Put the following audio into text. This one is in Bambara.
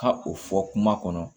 Ka o fɔ kuma kɔnɔ